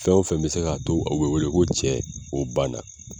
Fɛn o fɛn be se k'a to o be wele ko cɛ o banna